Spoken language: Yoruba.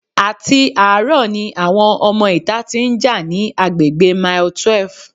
Àti àárọ̀ ni àwọn ọmọ ìta tí ń já ní agbègbè mile twelve.